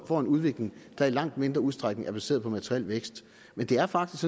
får en udvikling der i langt mindre udstrækning er baseret på materiel vækst men det er faktisk